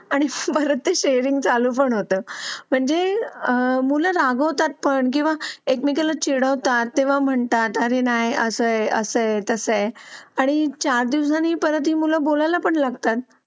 आणि भरत शेरिंग चालू होतं म्हणजे आह मुलं होतात पण किंवा एकमेकांना चिडवतात तेव्हा म्हणतात आले नाही असे असता आहेत असं आहे आणि चार दिवसांनी परत ही मुलं बोलायला पण लागतात.